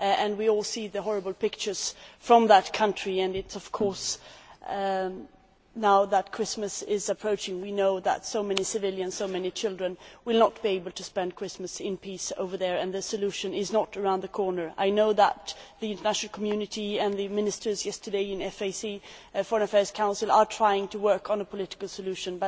We all see the horrible pictures from that country, and of course now that Christmas is approaching, we know that so many civilians so many children will not be able to spend Christmas in peace over there. We also know that a solution is not around the corner. I know that the international community and the ministers yesterday in the Foreign Affairs Council have been trying to work on a political solution.